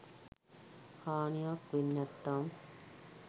හානියක් වෙන්නැත්නම්